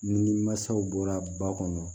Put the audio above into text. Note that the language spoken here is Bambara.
Ni mansaw bɔra ba kɔnɔ